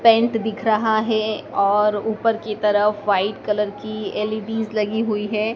Paint दिख रहा है और ऊपर की तरफ व्हाइट कलर की एल_ई_डी लगी हुई है।